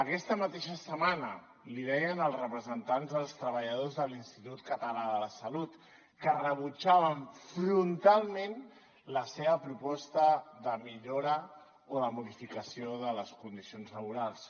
aquesta mateixa setmana li deien els representants dels treballadors de l’institut català de la salut que rebutjaven frontalment la seva proposta de millora o de modificació de les condicions laborals